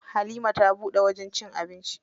Halima ta buɗe wajen cin abinci.